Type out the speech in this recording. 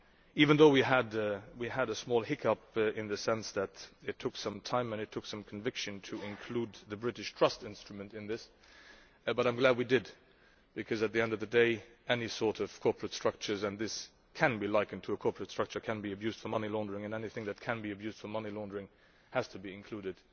Even though we had a small hiccup in the sense that it took some time and conviction to include the British trust instrument, I am nonetheless glad that we did, because at the end of the day any sort of corporate structures and this can be likened to a corporate structure can be abused for money laundering, and anything that can be abused for money laundering has to be included